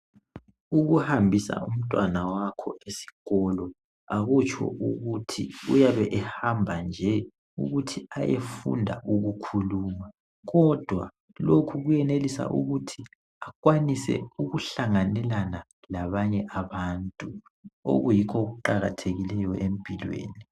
Ukuhambisa umntwana wakho esikolo akutsho ukuthi uyabe ehamba nje ukuthi ayefunda ukukhuluma kodwa ukuyenelisa ukuthi akwanise ukuhlanganela labanye abantu okuyikho okuqakathekileyo empilweni.